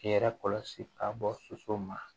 K'i yɛrɛ kɔlɔsi ka bɔ soso ma